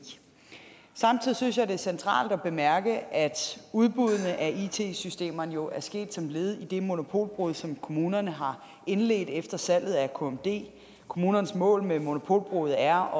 samtidig synes jeg det er centralt at bemærke at udbuddene af it systemerne jo er sket som led i det monopolbrud som kommunerne har indledt efter salget af kmd kommunernes mål med monopolbruddet er